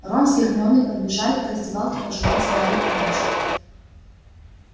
рон с гермионой подбежали к раздевалке пожелать гарри удачи